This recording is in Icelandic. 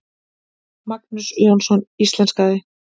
Magnús Jónsson íslenskaði.